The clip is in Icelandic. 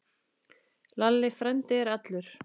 Lalli frændi er allur.